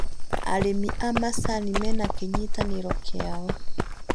Arĩmi a macani mena kĩnyitanĩro kĩao